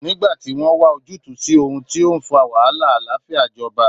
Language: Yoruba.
Nígbà tí wọ́n wa ojútùú sí ohun tó ń fa wàhálà, àlàáfíà jọba